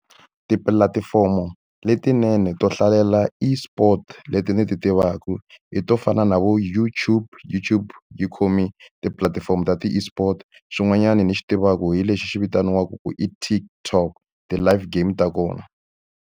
Tipulatifomo letinene to hlalela eSports leti ni ti tivaka i to fana na vo YouYube. YouTube yi khome tipulatifomo ta ti-eSport. Xin'wanyana ni xi tivaka hi lexi vitaniwaka ku i TikTok ti-live game ta kona.